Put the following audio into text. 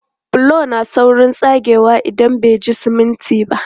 Bulo na saurin tsagewa idan bai ji siminti ba.